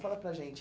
Fala para a gente.